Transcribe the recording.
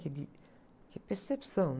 De, de, de percepção, né?